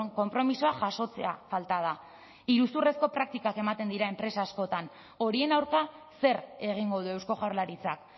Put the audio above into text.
konpromisoa jasotzea falta da iruzurrezko praktikak ematen dira enpresa askotan horien aurka zer egingo du eusko jaurlaritzak